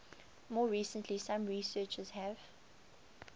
more recently some researchers have